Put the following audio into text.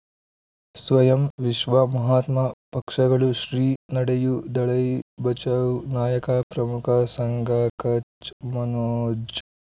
ಸ್ವಯಂ ವಿಶ್ವ ಮಹಾತ್ಮ ಪಕ್ಷಗಳು ಶ್ರೀ ನಡೆಯೂ ದಲೈ ಬಚೌ ನಾಯಕ ಪ್ರಮುಖ ಸಂಘ ಕಚ್ ಮನೋಜ್